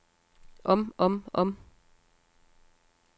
om om om